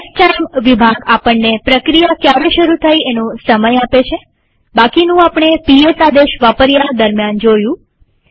સ્ટાઇમ વિભાગ આપણને પ્રક્રિયા ક્યારે શરુ થઇ એનો સમય આપે છેબાકીનું આપણે પીએસ આદેશ વાપર્યા દરમ્યાન જોયું